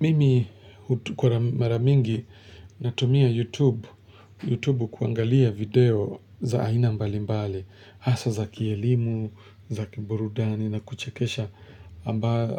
Mimi kwa mara mingi natumia YouTube kuangalia video za aina mbali mbali, hasa za kielimu, za kiburudani na kuchekesha